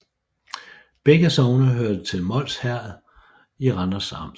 Begge sogne hørte til Mols Herred i Randers Amt